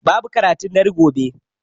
Babu karatun dare gobe